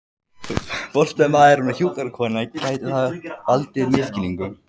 forstöðumaðurinn og hjúkrunarkonan, gæti það valdið misskilningi.